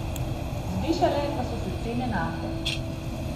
Zvišale pa so se cene nafte.